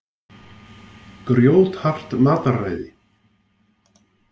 Grjóthart mataræði.